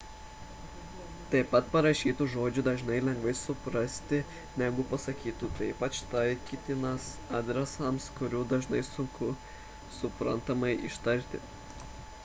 taip pat parašytus žodžius dažnai lengviau suprasti negu pasakytus tai ypač taikytina adresams kuriuos dažnai sunku suprantamai ištarti